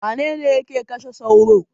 Wane ne yake kashe sauro?